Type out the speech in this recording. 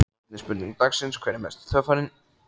Seinni spurning dagsins er: Hver er mesti töffarinn?